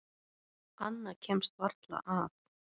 Annað kemst varla að.